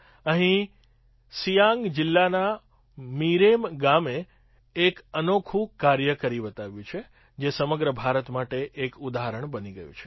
અહીં સિયાંગજિલ્લાના મિરેમ ગામે એક અનોખું કાર્ય કરી બતાવ્યું જે સમગ્ર ભારત માટે એક ઉદાહરણ બની ગયું છે